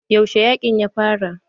Yaushe yaƙin ya fara?